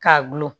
Ka gulon